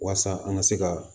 Walasa an ka se ka